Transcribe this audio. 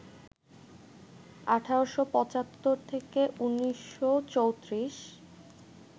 ১৮৭৫-১৯৩৪